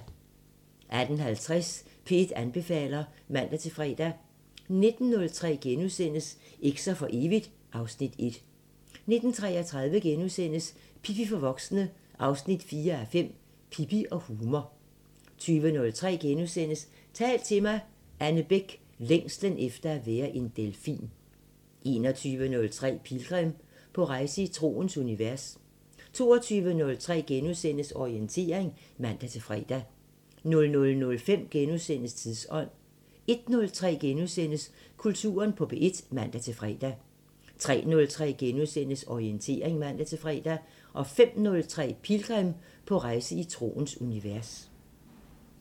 18:50: P1 anbefaler (man-fre) 19:03: Eks'er for evigt (Afs. 1)* 19:33: Pippi for voksne 4:5 – Pippi og humor * 20:03: Tal til mig – Anne Bech: Længslen efter at være en delfin * 21:03: Pilgrim – på rejse i troens univers 22:03: Orientering *(man-fre) 00:05: Tidsånd * 01:03: Kulturen på P1 *(man-fre) 03:03: Orientering *(man-fre) 05:03: Pilgrim – på rejse i troens univers